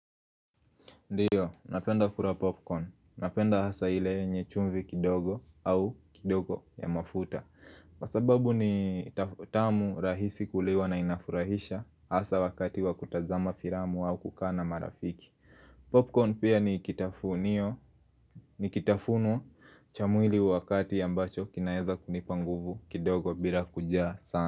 Ndiyo, napenda kura popcorn, napenda hasa ile nye chumvi kidogo au kidogo ya mafuta sababu ni tamu rahisi kuliwa na inafurahisha hasa wakati wakutazama firamu au kukana marafiki Popcorn pia ni kitafunio, ni kitafunwa chamwili wakati ya mbacho kinaeza kunipanguvu kidogo bila kujaa sana.